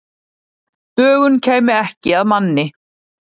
Dögun kæmi ekki að manni.